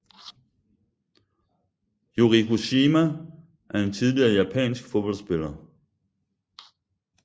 Yuriko Shima er en tidligere japansk fodboldspiller